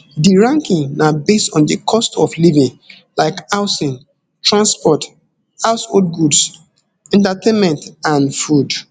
di ranking na based on di cost of living like housing transport household goods entertainment and food